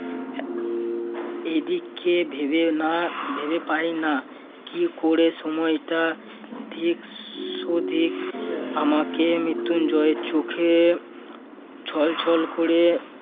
এদিকে ভেবে না~ ভেবে পাইনা কি করে সময়টা ‍ঠিক সধিক আমাকে মৃত্যুঞ্জয়ের চোখে ছলছল করে